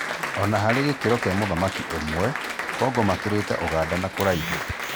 Ona harĩ gĩkĩro gĩa mũthaki ũmwe, Kongo makĩrĩte Ũganda na kũraihu.